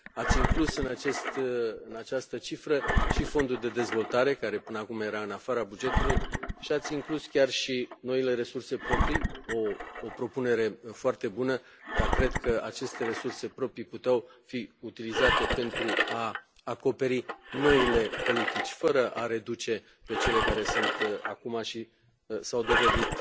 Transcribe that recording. Ați inclus în această cifră și Fondul de dezvoltare, care până acum era în afara bugetului, și ați inclus chiar și noile resurse proprii o propunere foarte bună dar cred că aceste resurse proprii puteau fi utilizate pentru a acoperi noile politici, fără a le reduce pe cele care sunt acum și care s au dovedit